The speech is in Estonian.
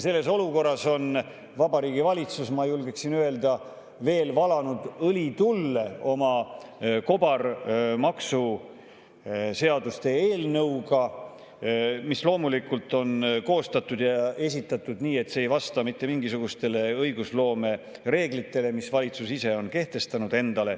Selles olukorras on Vabariigi Valitsus – ma julgeksin öelda – valanud veel õli tulle oma maksuseaduste kobareelnõuga, mis loomulikult on koostatud ja esitatud nii, et see ei vasta mitte mingisugustele õigusloome reeglitele, mille valitsus ise on endale kehtestanud.